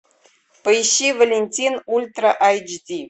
поищи валентин ультра эйч ди